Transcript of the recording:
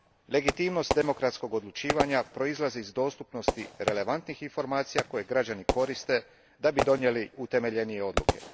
Legitimnost demokratskog odlučivanja proizlazi iz dostupnosti relevantnih informacija koje građani koriste da bi donijeli utemeljenije odgovore.